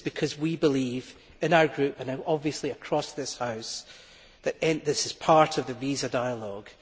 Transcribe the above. This is because we believe in our Group and obviously across this House that this is part of the visa dialogue.